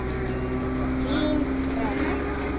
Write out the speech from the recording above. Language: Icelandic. Þín Hrönn.